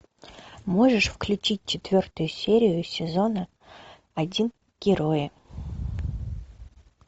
можешь включить четвертую серию сезона один герои